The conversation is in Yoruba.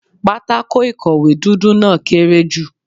Pátákó ìkọ̀wé dúdú náà kéré jù.